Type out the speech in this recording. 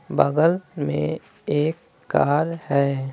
बगल में एक कार है।